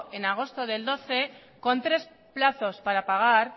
en agosto del dos mil doce con tres plazos para pagar